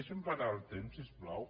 deixi’m parar el temps si us plau